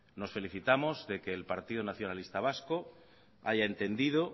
nos felicitamos de que el partido nacionalista vasco haya entendido